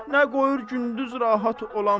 nə qoyur gündüz rahat olam.